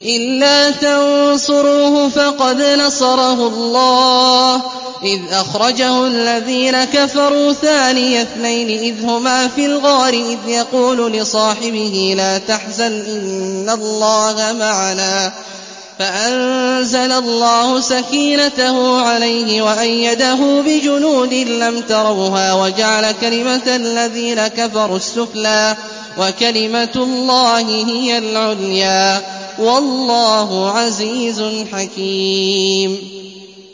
إِلَّا تَنصُرُوهُ فَقَدْ نَصَرَهُ اللَّهُ إِذْ أَخْرَجَهُ الَّذِينَ كَفَرُوا ثَانِيَ اثْنَيْنِ إِذْ هُمَا فِي الْغَارِ إِذْ يَقُولُ لِصَاحِبِهِ لَا تَحْزَنْ إِنَّ اللَّهَ مَعَنَا ۖ فَأَنزَلَ اللَّهُ سَكِينَتَهُ عَلَيْهِ وَأَيَّدَهُ بِجُنُودٍ لَّمْ تَرَوْهَا وَجَعَلَ كَلِمَةَ الَّذِينَ كَفَرُوا السُّفْلَىٰ ۗ وَكَلِمَةُ اللَّهِ هِيَ الْعُلْيَا ۗ وَاللَّهُ عَزِيزٌ حَكِيمٌ